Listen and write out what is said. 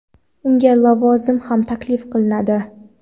Unga lavozim ham taklif qilinadi.